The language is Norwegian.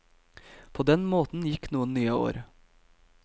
På den måten gikk noen nye år.